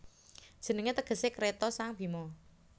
Jenengé tegesé Kreta sang Bhima